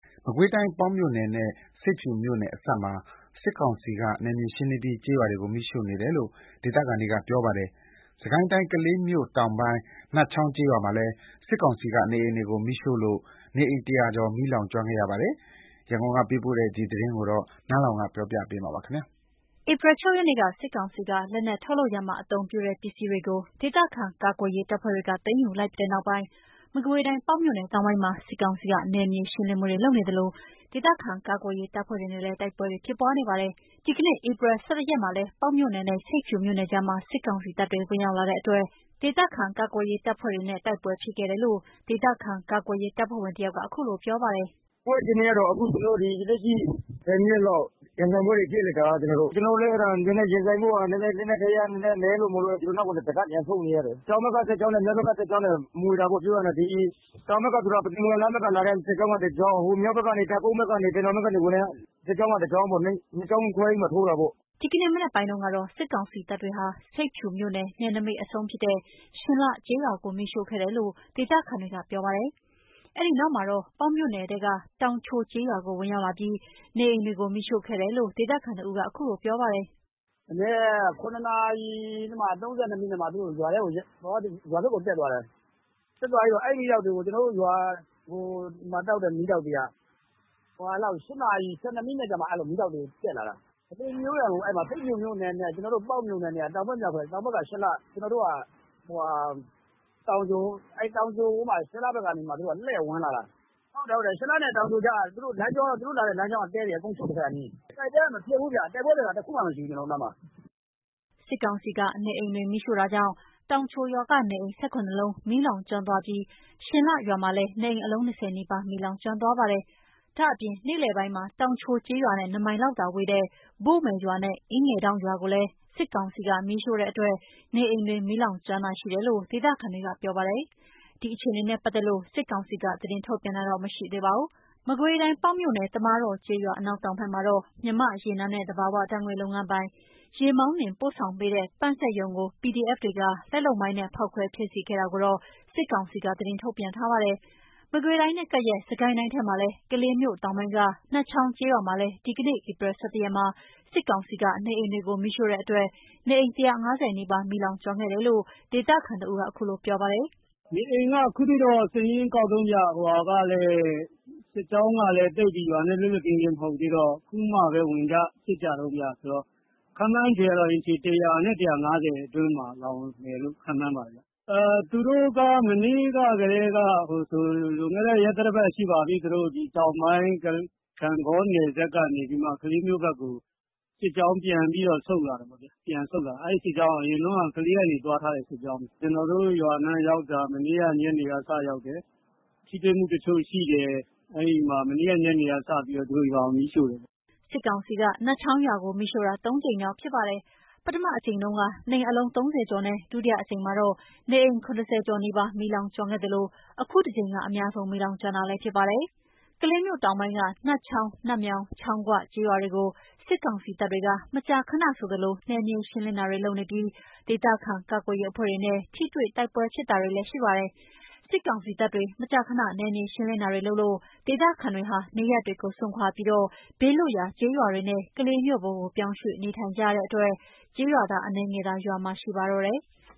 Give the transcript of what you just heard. မကွေးတိုင်း ပေါက်မြို့နယ်နဲ့ဆိပ်ဖြူမြို့နယ်အစပ်မှာ စစ်ကောင်စီက နယ်မြေရှင်းလင်းပြီး ကျေးရွာတွေကို မီးရှို့နေတယ်လို့ ဒေသခံတွေက ပြောပါတယ်။ စစ်ကိုင်းတိုင်း ကလေးမြို့တောင်ပိုင်း နတ်ချောင်းကျေးရွာမှာလည်း စစ်ကောင်စီက နေအိမ်တွေကိုမီးရှို့လို့ နေအိမ် ၁၀၀ ကျော် မီးလောင်ကျွမ်းခဲ့ပါတယ်။ ရန်ကုန်က ပေးပို့လာတဲ့သတင်းကို နန်းလောဝ်က တင်ပြပေးထားပါတယ်။ ဧပြီ ၆ ရက်နေ့က စစ်ကောင်စီက လက်နက် ထုတ်လုပ်ရာမှာ အသုံးပြုတဲ့ ပစ္စည်းတွေကို ဒေသခံကာကွယ်ရေးတပ်ဖွဲ့တွေက သိမ်းယူလိုက်ပြီးနောက်ပိုင်း မကွေးတိုင်း ပေါက်မြို့နယ်တောင်ပိုင်းမှာ စစ်ကောင်စီက နယ်မြေရှင်းလင်းမှုတွေ လုပ်နေသလို ဒေသခံကာကွယ်ရေး တပ်ဖွဲ့တွေနဲ့လည်း တိုက်ပွဲတွေ ဖြစ်ပွားနေပါတယ်။ ဒီကနေ့ ဧပြီ ၁၁ ရက်မှာလည်း ပေါက်မြို့နယ်နဲ့ဆိပ်ဖြူမြို့နယ်ကြားမှာ စစ်ကောင်စီတပ်တွေ ဝင်ရောက်လာတဲ့အတွက် ဒေသခံကာကွယ်ရေးတပ်ဖွဲ့တွေနဲ့ တိုက်ပွဲတွေဖြစ်ခဲ့တယ်လို့ ဒေသခံကာကွယ်ရေးတပ်ဖွဲ့ဝင်တယောက်က အခုလိုပြောပါတယ်။ “တိုက်ပွဲအခြေအနေက လက်ရှိ ၁၀ မိနစ်လောက် ရင်ဆိုင်ပွဲတွေဖြစ်လိုက်တယ်။ ကျနော်တို့လည်း ရင်ဆိုင်ဖို့ လက်နက်ခဲယမ်းနည်းနည်း နည်းလို့ အနောက်ကို ပြန်ဆုတ်လိုက်ရတယ်။ တောင်ဘက်က စစ်ကြောင်းနဲ့ မြောက်ဘက်က စစ်ကြောင်းမွှေတာပေါ့။ တောင်ဘက်ဆိုတာ ပုသိမ်-မုံရွာလမ်းဘက်က လာတဲ့စစ်ကြောင်းက တကြောင်း၊ မြောက်ဘက် တပ်ကုန်းတင်တောင်ဘက်ကနေ ဝင်တာက တကြောင်း ၂ ကြောင်းခွဲပြီးမှ ထိုးတာပေါ့။” ဒီနေ့ မနက်ပိုင်းတုန်းကတော့ စစ်ကောင်စီတပ်တွေဟာ ဆိပ်ဖြူမြို့ နယ်နိမိတ်အဆုံးဖြစ်တဲ့ ရှင်လှကျေးရွာကို မီးရှို့ခဲ့တယ်လို့ ဒေသခံတွေကပြောပြပါတယ်။ အဲ့ဒီနောက်မှာတော့ ပေါက်မြို့နယ်ထဲက တောင် ချိုကျေးရွာကို ဝင်ရောက်လာပြီး နေအိမ်တွေကို မီးရှို့ခဲ့တယ်လို့ ဒေသခံတဦးက အခုလိုပြောပါတယ်။ “မနက် ၇ နာရီ ၃၂ မိနစ်မှာ ရွာဘက်ကို တက်သွားတယ်။ ကျနော်တို့ရွာမှာ။ မီးတောက်တွေက ၈ နာရီ ၁၂ မိနစ်လောက်မှာ မီးတောက်တွေတက်လာတာ။ ပေါက်မြို့နယ်နဲ့ဆိပ်ဖြူမြို့နယ်က တောင်ဘက် မြောက်ဘက်။ တောင်ဘက်က ရှင်လှ။ ကျနော်တို့က တောင်ချို။ အဲ့ဒီ ရှင်လှဘက်ကနေ လှည့်ဝင်လာတာ။ ရှင်လှနဲ့တောင်ချိုက သူတို့လာတဲ့လမ်းကြောတည့်တည့် အကုန်ရှို့ခဲ့တာ။ တိုက်ပွဲက မဖြစ်ဘူး။ ကျနော်တို့နားမှာ တိုက်ပွဲဖြစ်တာ တခုမှမရှိဘူး။” စစ်ကောင်စီက နေအိမ်တွေမီးရှို့တာကြောင့် တောင်ချိုရွာက နေအိမ် ၁၇ လုံးမီးလောင်ကျွမ်းသွားပြီး ရှင် လှရွာလည်း နေအိမ် အလုံး ၂၀ နီးပါး မီးလောင်ကျွမ်းသွားပါတယ်။ ဒါ့အပြင် နေ့လယ်ပိုင်းမှာ တောင်ချိုကျေးရွာနဲ့ ၂ မိုင်ခန့်သာကွာဝေးတဲ့ ဘို့မယ်ရွာနဲ့အင်းငယ်ဒေါင့်ရွာကိုလည်း စစ်ကောင်ကမီးရှို့လို့ နေအိမ်တွေမီးလောင်ကျွမ်းတာရှိတယ်လို့ ဒေသခံတွေကပြောပါတယ်။ ဒီအခြေအနေနဲ့ပတ်သက်လို့ စစ်ကောင်စီက သတင်းထုတ်ပြန်တာမရှိသေးပါဘူး။ မကွေးတိုင်း ပေါက်မြို့နယ် သမားတော်ကျေးရွာ အနောက်ဘက်မှာတော့ မြန်မာ့ရေနံနဲ့ သဘာဝဓါတ်ငွေ့ လုပ်ငန်းပိုင် ရေမောင်းနှင်ပို့ပေးတဲ့ ပန့်စက်ရုံကို PDF တွေက လက်လုပ်မိုင်းနဲ့ဖောက်ခွဲဖျက်စီးခဲ့တာကိုတော့ စစ်ကောင်စီက သတင်းထုတ်ပြန်ထားပါတယ်။ မကွေးတိုင်နဲ့ကပ်လျက် စစ်ကိုင်းတိုင်းထဲက ကလေးမြို့တောင်ပိုင်း နတ်ချောင်းကျေးရွာမှာလည်း ဒီကနေ့ ဧပြီ ၁၁ ရက်မှာ စစ်ကောင်စီက နေအိမ်တွေကို မီးရှို့တဲ့အတွက် နေအိမ် ၁၅၀ နီးပါး မီးလောင်ကျွမ်းခဲ့တယ်လို့ ဒေသခံတဦးက အခုလိုပြောပါတယ်။ “နေအိမ်က အခုထိတော့ စာရင်းကောက်တုန်းဗျ။ စစ်ကြောင်းကလည်း ရွာနဲ့သိပ်ပြီး လွတ်လွတ်ကင်းကင်း မဟုတ်သေးတော့ အခုမှပဲ ဝင်ကြစစ်ကြတုန်းဗျ။ ခန့်မှန်းကတော့ ၁၀၀ နဲ့ ၁၅၀ အတွင်းမှာ လောင်တယ်လို့ ခန့်မှန်းပါတယ်။ သူတို့က မနေ့ကတည်းက၊ လွန်ခဲ့တဲ့ ရက်သတ္တပတ်ထဲက တောင်ပိုင်း ဂန့်ဂေါ နယ်စပ်ကနေပြီး ကလေးမြို့ဘက်ကို စစ်ကြောင်းပြန်ပြီးဆုတ်လာတာပေါ့ဗျာ။ အဲ့စစ်ကြောင်းက အရင်တုန်းက ကလေးကနေ သွားထားတဲ့ စစ်ကြောင်းဗျ။ ကျနော်တို့ရွာနားရောက်တာ။ မနေ့ညနေက စရောက်တယ်။ ထိတွေ့မှုတချို့ရှိတယ်။ အဲ့မှာသူတို့က မနေ့ညနေကစပြီး ရွာကို မီးရှို့တယ်။” စစ်ကောင်စီက နတ်ချောင်းရွာကို မီးရှို့တာ ဒီတကြိမ်ဟာ ၃ ကြိမ်မြောက်ဖြစ်ပါတယ်။ ပထမအကြိမ်တုန်းက နေအိမ် အလုံး ၃၀ ကျော်နဲ့ ဒုတိအကြိမ်မှာတော့ နေအိမ် ၇၀ ကျော်နီးပါး မီးလောင်ကျွမ်းခဲ့သလို အခုတကြိမ်က အများဆုံးမီးလောင်ကျွမ်းတာလည်းဖြစ်ပါတယ်။ ကလေးမြို့တောင်ပိုင်းက နတ်ချောင်း-နတ်မြောင်း-ချောင်းဂွ ကျေးရွာကို စစ်ကောင်စီတပ်တွေ မကြာခဏဆိုသလို နယ်မြေရှင်းလင်းတာတွေလုပ်ပြီး ဒေသခံကာကွယ်ရေးအဖွဲ့တွေနဲ့ ထိတွေ့တိုက်ပွဲတွေလည်း ဖြစ်ပါတယ်။ စစ်ကောင်စီတပ်တွေ မကြာခဏ နယ်မြေရှင်းလင်းတာတွေလုပ်လို့ ဒေသခံတွေဟာ နေရပ်တွေကို စွန့်ခွါပြီး ဘေးလွတ်ရာ ကျေးရွာတွေနဲ့ ကလေးမြို့ပေါ်ကို ပြောင်းရွေ့နေထိုင်ကြတဲ့အတွက် ကျေးရွာသား အနည်းငယ်သာ ရွာမှာရှိတော့ပါတယ်။